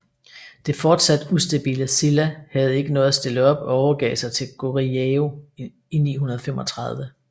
Det fortsat ustabile Silla havde ikke noget at stille op og overgav sig til Goryeo i 935